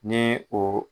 Ni o